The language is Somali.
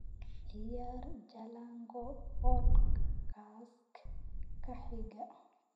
ciyaar jalango podcast-ka xiga